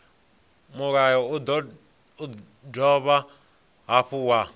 mulayo u dovha hafhu wa